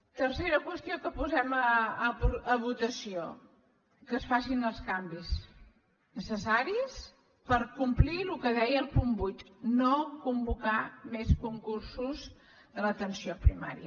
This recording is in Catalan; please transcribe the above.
tercera qüestió que posem a votació que es facin els canvis necessaris per complir el que deia el punt vuit no convocar més concursos a l’atenció primària